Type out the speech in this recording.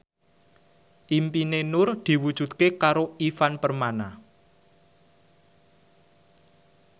impine Nur diwujudke karo Ivan Permana